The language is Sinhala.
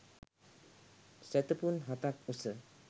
සැතපුම් හතක් උස